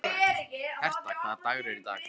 Herta, hvaða dagur er í dag?